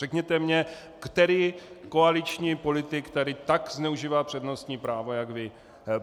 Řekněte mi, který koaliční politik tady tak zneužívá přednostní právo jak vy.